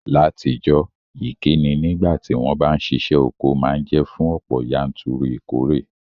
Látijọ́, ìkíni nígbàtí won ba n sisẹ́ oko ma n je fún ọ̀pọ̀yanturu ìkóre